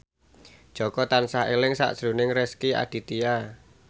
Jaka tansah eling sakjroning Rezky Aditya